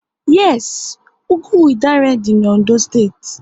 Yes, ugwu Idanre dị n'Ondo steeti